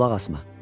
Qulaq asma.